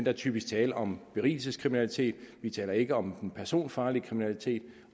er typisk tale om berigelseskriminalitet vi taler ikke om den personfarlige kriminalitet